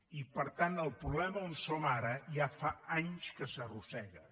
i per tant el problema on som ara ja fa anys que s’arrossega